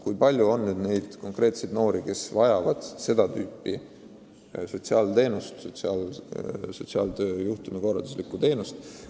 Kui palju on konkreetseid noori, kes vajavad seda tüüpi sotsiaalabi, juhtumikorralduslikku teenust?